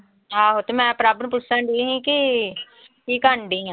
ਆਹੋ ਤੇ ਮੈਂ ਪ੍ਰਭ ਨੂੰ ਪੁੱਛਣਡੀ ਕਿ ਕੀ ਕਰਨਡੀ ਆਂ